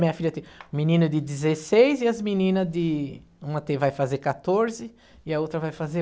Minha filha tem um menino de dezesseis e as meninas de... Uma tem vai fazer quatorze e a outra vai fazer